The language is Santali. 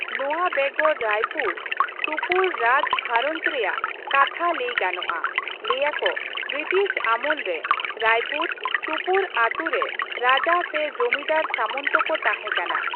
ᱱᱚᱣᱟ ᱵᱮᱜᱚᱨ ᱨᱟᱭᱯᱩᱨ, ᱥᱩᱯᱩᱨ ᱨᱟᱡᱽ ᱜᱷᱟᱨᱽ ᱨᱮᱭᱟᱜ ᱠᱟᱛᱷᱟ ᱞᱟᱹᱭ ᱜᱟᱱᱚᱜᱼᱟ ᱾ ᱞᱟᱹᱭ ᱟᱠᱚ ᱵᱨᱤᱴᱤᱥ ᱟᱢᱚᱞ ᱨᱮ ᱨᱟᱭᱯᱩᱨ, ᱥᱩᱯᱩᱨ ᱟᱛᱩ ᱨᱮ ᱨᱟᱡᱟ ᱥᱮ ᱡᱚᱢᱤᱫᱟᱨ ᱥᱟᱢᱚᱱᱛᱚ ᱠᱚ ᱛᱟᱦᱮᱸᱠᱟᱱᱟ ᱾